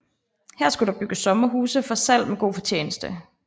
Her skulle der bygges sommerhuse for salg med god fortjeneste